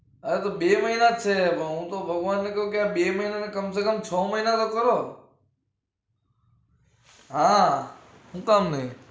અરે તો બે મહિના જ છે હું તો કહું ભગવાન ને કહું કે બે મહિના નું કમસેકમ છ મહિના નું કરો હા હું કામ નઈ?